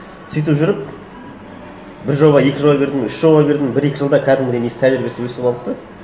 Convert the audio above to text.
сөйтіп жүріп бір жоба екі жоба бердім үш жоба бердім бір екі жылда кәдімгідей несі тәжірибесі өсіп алды да